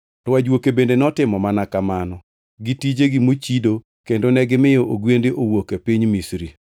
To ajuoke bende notimo mana kamano gi tijegi mochido kendo negimiyo ogwende owuok e piny Misri.